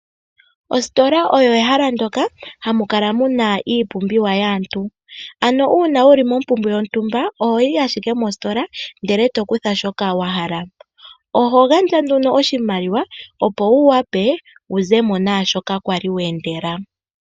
Ositola oyo ehala ndoka hamu kala mu na iipumbiwa yaantu, ano uuna wu li mombumbwe yontumba, oho yi ashike mostola, ndele e to kutha shoka wa hala. Oho gandja nduno oshimaliwa, opo wu wape wu ze mo naashoka kwali we endela.